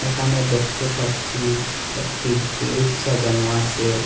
এখানে দেখতে পাচ্ছি একটি গেট সাজানো আছে।